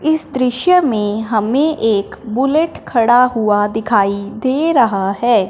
इस दृश्य में हमें एक बुलेट खड़ा हुआ दिखाई दे रहा है।